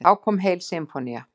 Þá kom heil sinfónía.